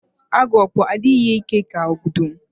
Agu okpo adịghị ike ka ọdụm